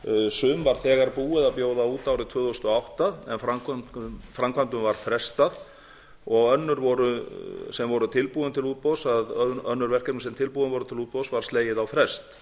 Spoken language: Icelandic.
sum var þegar búið að bjóða út árið tvö þúsund og átta en framkvæmdum var frestað og öðrum verkefnum sem tilbúin voru til útboðs var slegið á frest